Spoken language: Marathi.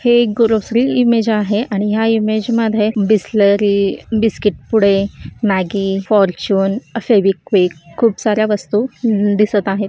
हे एक ग्रॉसरी इमेज आहे आणि ह्या इमेज मध्ये बिसलरी बिस्किट पुडे मॅगी अह फॉर्च्यून फेविक्विक खूप सार्‍या वस्तु हम्म दिसत आहेत.